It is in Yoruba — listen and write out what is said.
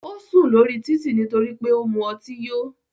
Ó sùn lórí títì nítorí pé ó mu ọtí yó.